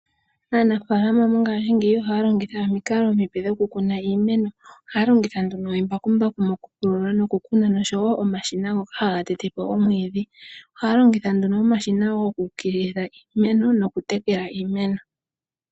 Aanafaalama mongashingeyi oha longitha omikalo omipe dhokukuna iimeno, oha longitha nduno embakumbaku mokupulula nokukuna noshowo omashina haga tete po omwiidhi. Ohaalongitha omashina goku ukililitha iimeno nokutekela iimeno .